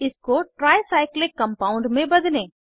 इसको tricyclic compound में बदलें